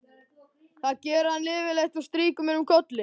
Það gerir hann yfirleitt og strýkur mér um kollinn.